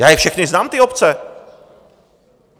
Já je všechny znám, ty obce.